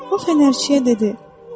O fənərçiyə dedi: